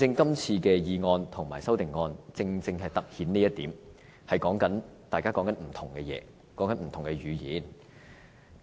今次的議案和修正案正好突顯出這一點，大家正在說不同的事情，使用不同的語言。